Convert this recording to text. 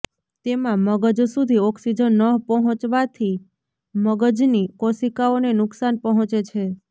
તેમાં મગજ સુધી ઓક્સિજન ન પહોંચવાથી મગજની કોશિકાઓને નુકસાન પહોંચે છે